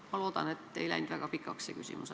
Ma loodan, et küsimus ei läinud väga pikaks.